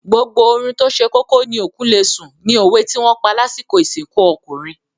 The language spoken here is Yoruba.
“Gbogbo oorun tóse kókó ni òkú lesùn ” ni òwe tí wọ́n pa lásìkò ìsìnkú ọkùnrin.